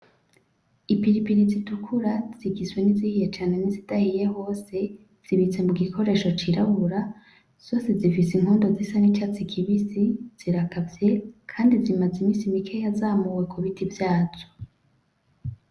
Ipiripiri zitukura zigizwe nizihiye cane nizidahiye hose zibitse mugikoresho cirabura zose zifise inkondo zisa n'icatsi kibisi zirakavye kandi zimaze iminsi mikeya zamuwe kubiti vyazo.